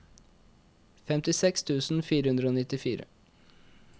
femtiseks tusen fire hundre og nittifire